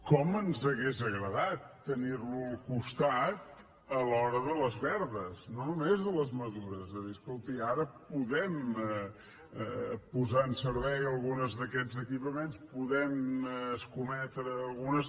com ens hauria agradat tenir lo al costat a l’hora de les verdes no només de les madures és a dir escolti ara podem posar en servei alguns d’aquests equipaments podem escometre algunes